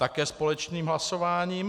Také společným hlasováním.